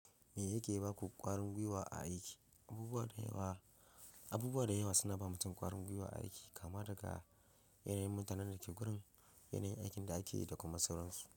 Me yake yi baku ƙwarin gwiwa a aiki? Abubuwa da yawa, abubuwa da yawa suna ba mutum ƙwarin gwiwa aiki kama daga yanayin mutanen da ke gurin, yanayin aikin da ake yi da kuma sauransu.